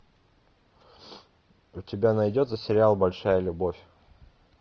у тебя найдется сериал большая любовь